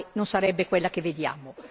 non sarebbe quella che vediamo.